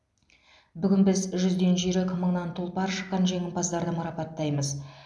бүгін біз жүзден жүйрік мыңнан тұлпар шыққан жеңімпаздарды марапаттаймыз